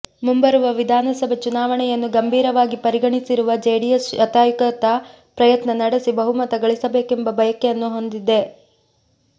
ಮುಂಬರುವ ವಿಧಾನಸಭೆ ಚುನಾವಣೆಯನ್ನು ಗಂಭೀರವಾಗಿ ಪರಿಗಣಿಸಿರುವ ಜೆಡಿಎಸ್ ಶತಾಯಗತಾಯ ಪ್ರಯತ್ನ ನಡೆಸಿ ಬಹುಮತ ಗಳಿಸಬೇಕೆಂಬ ಬಯಕೆಯನ್ನು ಹೊಂದಿದೆ